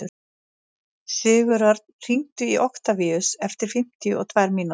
Sigurörn, hringdu í Októvíus eftir fimmtíu og tvær mínútur.